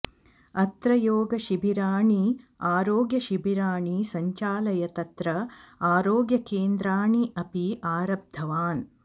अत्र योगशिबिराणि आरोग्यशिबिराणि सञ्चाल्य तत्र आरोग्यकेन्द्राणि अपि आरब्धवान्